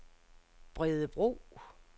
Bredebro